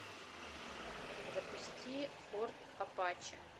запусти форт апачи